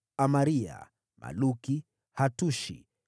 Amaria, Maluki, Hatushi,